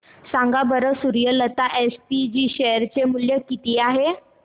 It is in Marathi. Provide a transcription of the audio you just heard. सांगा बरं सूर्यलता एसपीजी शेअर चे मूल्य किती आहे